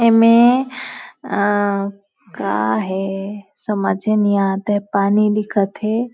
में का है समझे नहीं आता है पानी दिखत है।